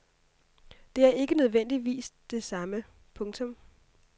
Det er ikke nødvendigvis det samme. punktum